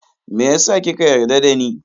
Meyasa kika yarda dani?